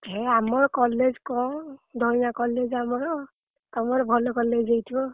ମୁଁ ଆମ college କଣ ଧୟାଁ college ଆମର ତମର ଭଲ college ହେଇଥିବ।